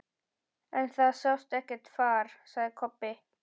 En það sást ekkert far, sagði Kobbi.